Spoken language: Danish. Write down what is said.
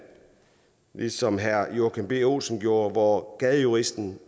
ligesom herre joachim b olsen gjorde hvor gadejuristen